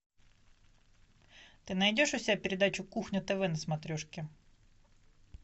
ты найдешь у себя передачу кухня тв на смотрешке